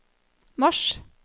mars